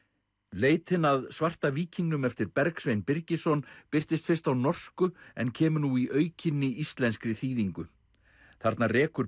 leitin að svarta víkingnum eftir Bergsvein Birgisson birtist fyrst á norsku en kemur nú í aukinni íslenskri þýðingu þarna rekur